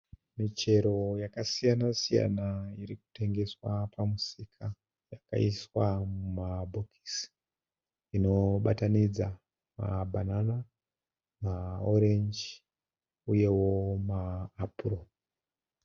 Michero yakasiyana-siyana irikutengeswa pamusika. Yakaiswa mumabhokisi, inobatanidza mabhanana, maorenji uyewo maapuro.